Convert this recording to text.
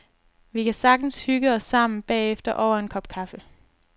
Vi kan sagtens hygge os sammen bagefter over en kop kaffe.